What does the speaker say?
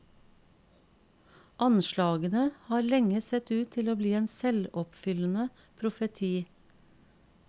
Anslagene har lenge sett ut til å bli en selvoppfyllende profeti.